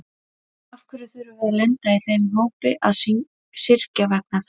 En af hverju þurfum við að lenda í þeim hópi að syrgja vegna þess?